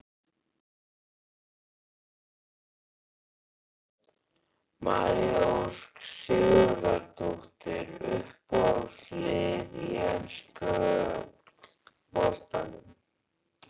María Ósk Sigurðardóttir Uppáhalds lið í enska boltanum?